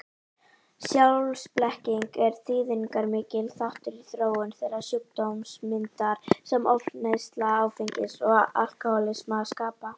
Sjálfsblekkingin er þýðingarmikill þáttur í þróun þeirrar sjúkdómsmyndar sem ofneysla áfengis og alkohólismi skapa.